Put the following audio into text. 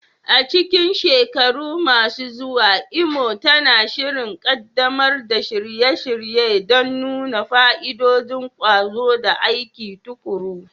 A cikin shekaru masu zuwa, Imo tana shirin ƙaddamar da shirye-shirye don nuna fa'idodin ƙwazo da aiki tuƙuru.